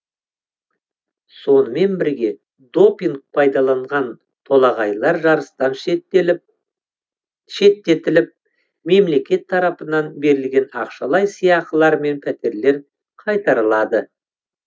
сонымен бірге допинг пайдаланған толағайлар жарыстан шеттетіліп мемлекет тарапынан берілген ақшалай сыйақылар мен пәтерлер қайтарылады